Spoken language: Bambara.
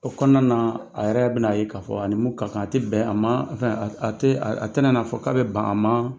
O kɔnɔna na a yɛrɛ bɛn'a ye k'a fɔ a ni ni mun ka kan a tɛ bɛn a ma a tɛna n'a fɔ k'a bɛ ban a ma